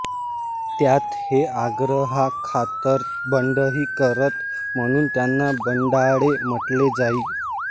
त्यात ते आग्रहाखातर बंडही करत म्हणून त्यांना बंडाळे म्हटले जाई